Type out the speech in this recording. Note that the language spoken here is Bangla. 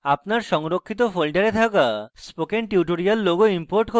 আপনার সংরক্ষিত folder থাকা spoken tutorial logo import করুন